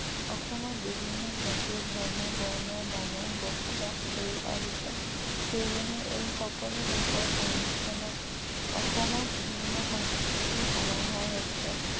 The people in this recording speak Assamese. অসমত বিভিন্ন জাতি ধৰ্ম বৰ্ণ মানুহ বসবাস কৰি আহিছে সেয়েহে এই সকলো লোকৰ সংমিশ্ৰনত অসমত ভিন্ন সংস্কৃতিৰ সমাহাৰ হৈছে